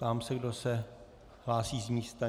Ptám se, kdo se hlásí z místa.